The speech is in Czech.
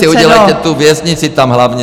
Vy si udělejte tu věznici, tam hlavně.